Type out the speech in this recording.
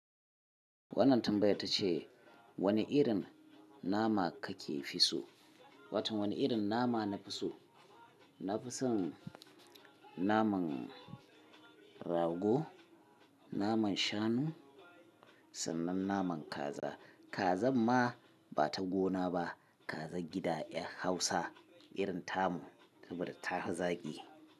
Wannan tambayar ta ce, wane irin nama kake fi so? Wato wani irin nama na fi so? Na fi son naman rago, naman shanu sannan naman kaza. Kazan ma ba ta gona ba. Kazar gida ƴar Hausa. Irin tamu, kamar ta fi zaƙi.